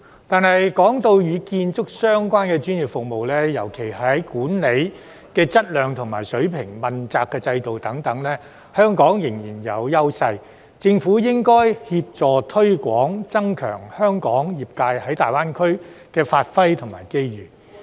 但是，若論與建築相關的專業服務，尤其是在管理的質量和水平、問責制度等，香港仍然具有優勢，所以政府應該協助推廣，增加香港業界在大灣區的發揮和機遇。